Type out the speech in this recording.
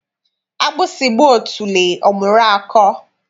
Agbụsị gbaa otule, ọ mụrụ akọ.